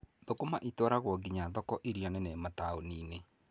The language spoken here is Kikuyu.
Thũkũma itwaragwo nginya thoko irĩa nene mataũni-inĩ.